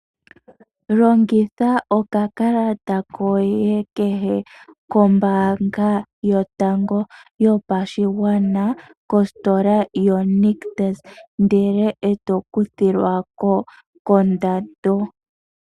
Longitha okakalata koye kombanga yotango yopashigwana kositola yoNictus ndele eto kuthilwako kondando.